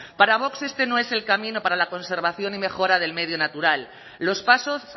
para vox este no es el camino para la conservación y mejora del medio natural los pasos